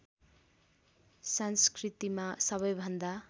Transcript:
संस्कृतिमा सबैभन्दा